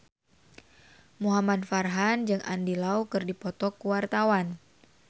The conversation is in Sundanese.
Muhamad Farhan jeung Andy Lau keur dipoto ku wartawan